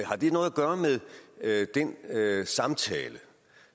gøre med at den samtale